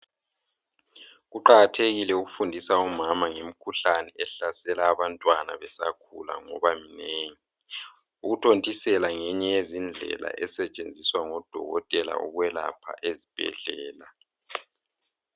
Kuqakathekile ukufundisa omama ngemikhuhlane ehlasela abantwana besakhula ngoba iminengi. Ukuthontisela ngeyinye yezindlela esetshenziswa ngodokotela ukwelapha ezibhedlela.